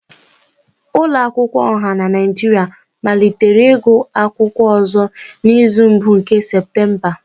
Ụlọ akwụkwọ ọha na Nigeria malitere igụụ akwụkwọ ọzọ n'izu mbụ nke Septemba